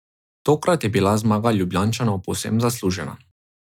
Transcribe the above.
Tokrat je bila zmaga Ljubljančanov povsem zaslužena.